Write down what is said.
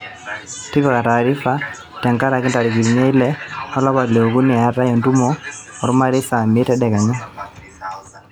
tipika taarifa tenkaraki ntarikini ile olapa liokuni eetai entumo ormarei saa miet tedekenya